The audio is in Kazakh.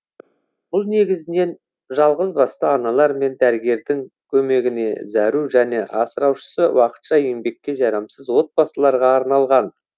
бұл негізінен жалғызбасты аналар мен дәрігердің көмегіне зәру және асыраушысы уақытша еңбекке жарамсыз отбасыларға арналған